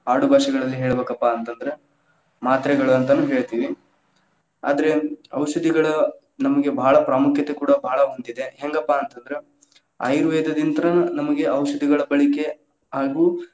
ಆಡು ಭಾಷೆಗಳಲ್ಲಿ ಹೇಳಬೇಕಪ್ಪಾ ಅಂತಂದ್ರ ಮಾತ್ರೆಗಳು ಅಂತನೂ ಹೇಳತೀವಿ, ಆದ್ರೇ ಔಷಧಿಗಳ್ ನಮಗೆ ಭಾಳ ಪ್ರಾಮುಖ್ಯತೆ ಕೂಡಾ ಭಾಳ ಹೊಂದಿದೆ, ಹೆಂಗಪ್ಪಾ ಅಂತಂದ್ರ ಆಯುರ್ವೇದದಿಂತ್ರ್‌ ನಮಗೆ ಔಷಧಗಳ ಬಳಿಕೆ ಹಾಗೂ.